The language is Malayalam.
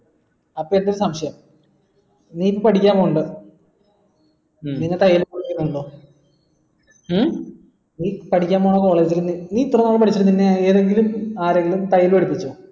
അപ്പൊ എനിക്ക് സംശയം നീ പഠിക്കാൻ പോകുന്നുണ്ട ഉം നിന്നെ ഉം നീ പഠിക്കാൻ പോണ college ൽ നീ ഇത്രനാളും പഠിച്ചിരുന്ന ഇത്രനാളും പഠിച്ചിരുന്ന തയ്യിൽ പഠിപ്പിച്ചോ